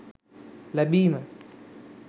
ලැබීම